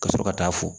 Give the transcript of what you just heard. Ka sɔrɔ ka taa fo